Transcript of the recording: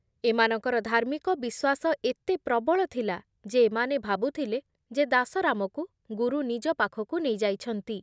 ଏମାନଙ୍କର ଧାର୍ମିକ ବିଶ୍ଵାସ ଏତେ ପ୍ରବଳ ଥିଲା ଯେ ଏମାନେ ଭାବୁଥିଲେ ଯେ ଦାସରାମକୁ ଗୁରୁ ନିଜ ପାଖକୁ ନେଇ ଯାଇଛନ୍ତି ।